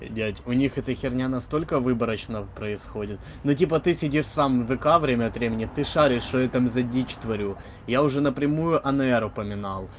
дядя у них это херня настолько выборочного происходит но типа ты сидишь сам вка время от времени ты шаришь что я там за дичь тварю я уже напрямую анаэру поменал